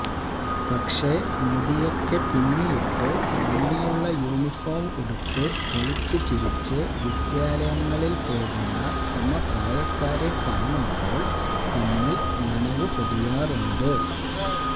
പക്ഷെ മുടിയൊക്കെ പിന്നിയിട്ട് ഭംഗിയുള്ള യൂണിഫോം ഉടുത്തു കളിച്ചു ചിരിച്ചു വിദ്യാലയങ്ങളില് പോകുന്ന സമപ്രായക്കാരെ കാണുമ്പോള് കണ്ണില് നനവ് പൊടിയാറുണ്ട്